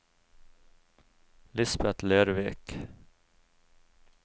Lisbeth Lervik